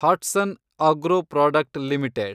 Hatsun agro product limited